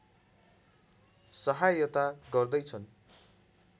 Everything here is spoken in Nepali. सहायता गर्दै छन्